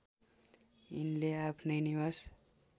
यिनले आफ्नै निवास